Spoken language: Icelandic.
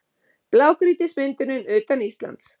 Blágrýtismyndunin utan Íslands